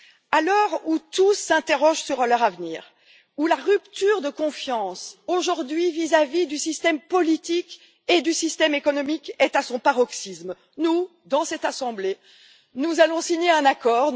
À l'heure où tous s'interrogent sur leur avenir et où la rupture de confiance vis à vis du système politique et du système économique est à son paroxysme, nous, dans cette assemblée, nous allons signer un accord.